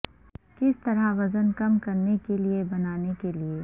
کس طرح وزن کم کرنے کے لئے بنانے کے لئے